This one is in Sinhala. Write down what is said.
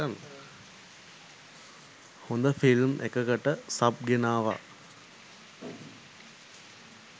හොඳ ‍ෆිල්ම් එකකට සබ් ගෙනාවා.